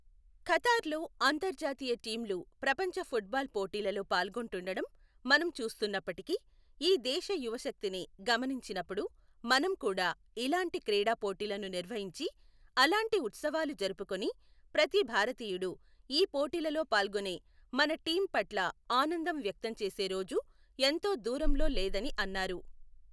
ఖతార్లో అంతర్జాతీయ టీమ్లు ప్రపంచఫుట్బాల్ పోటీలలో పాల్గొంటుండడం మనం చూస్తున్నప్పటికీ, ఈ దేశ యువశక్తిని గమనించినపుడు మనం కూడా ఇలాంటి క్రీడా పోటీలను నిర్వహించి, అలాంటి ఉత్సవాలు జరుపుకుని ప్రతి భారతీయుడూ ఈ పోటీలలో పాల్గొనే మన టీం పట్ల ఆనందం వ్యక్తం చేసే రోజు ఎంతో దూరంలో లేదని అన్నారు.